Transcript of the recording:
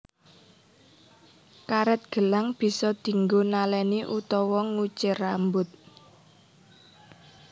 Karet gelang bisa dinggo naleni utawa nguncir rambut